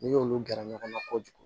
N'i y'olu gɛrɛ ɲɔgɔn na kojugu